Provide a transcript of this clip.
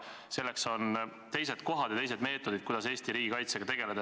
Selleks, et Eesti riigi kaitsega tegeleda, on teised kohad ja teised meetodid.